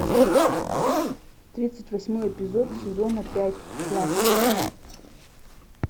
тридцать восьмой эпизод сезона пять класс